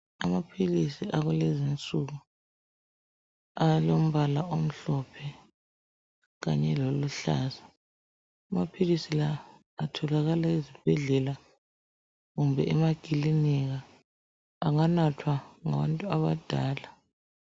Amaphilisi akulezi nsuku alombala omhlophe kanye loluhluza amaphilisi la atholakala ezibhedlela kumbe emakiliinika enganathwa ngabantu abadala .